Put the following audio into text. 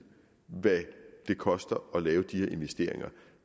hvad det koster at lave de her investeringer